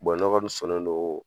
ne kɔni sɔnnen don